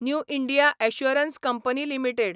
new India Assurance Company limited